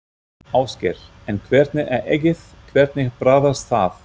Ásgeir: En hvernig er eggið, hvernig bragðast það?